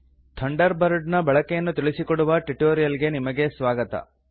thunder bird ನ ಬಳಕೆಯನ್ನು ತಿಳಿಸಿಕೊಡುವ ಟ್ಯುಟೋರಿಯಲ್ ಗೆ ನಿಮಗೆ ಸ್ವಾಗತ